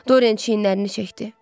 Dorian çiynlərini çəkdi.